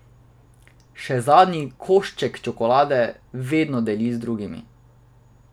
Še zadnji košček čokolade vedno deli z drugimi.